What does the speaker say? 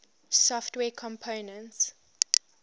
software components